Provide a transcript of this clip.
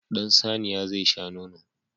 Ɗan saniya zai sha nono.